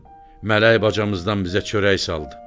Mələk bacamızdan bizə çörək saldı.